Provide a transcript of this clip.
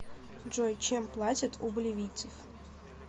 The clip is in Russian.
джой чем платят у боливийцев